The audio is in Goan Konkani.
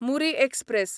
मुरी एक्सप्रॅस